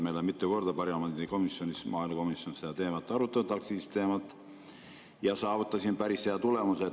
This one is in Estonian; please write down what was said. Me oleme mitu korda parlamendi komisjonis, maaelukomisjonis aktsiisiteemat arutanud, ja saavutanud päris hea tulemuse.